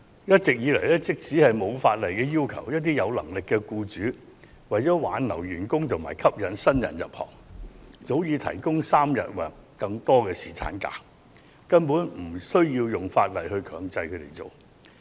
一直以來，即使法例未有要求，一些有能力的僱主為挽留員工和吸引新人入行，早已提供3天或更長的侍產假，政府無需立法強制他們這樣做。